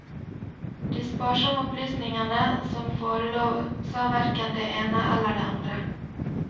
De sparsomme opplysningene som forelå sa verken det ene eller andre.